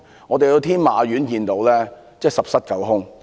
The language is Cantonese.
我們在天馬苑看到商場十室九空。